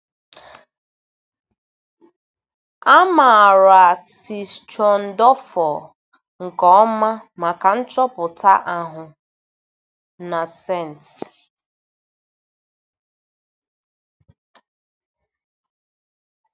A maara Tischendọrfụ nke ọma maka nchọpụta ahụ, na St.